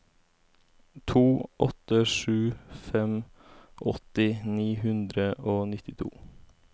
to åtte sju fem åtti ni hundre og nittito